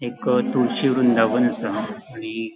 एक तुळशी वृंदावन आसा आणि --